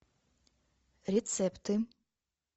рецепты